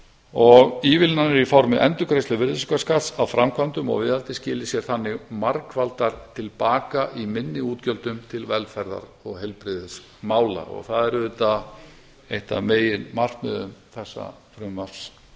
og ívilnanir í formi endurgreiðslu virðisaukaskatts á framkvæmdum og viðhaldi skili sér þannig margfaldar til baka í minni útgjöldum til velferðar og heilbrigðismála og það er auðvitað eitt af meginmarkmiðum þessa frumvarps